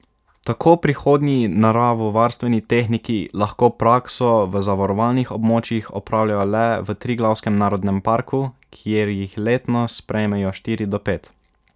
Tako prihodnji naravovarstveni tehniki lahko prakso v zavarovanih območjih opravljajo le v Triglavskem narodnem parku, kjer jih letno sprejmejo štiri do pet.